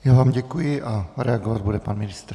Já vám děkuji a reagovat bude pan ministr.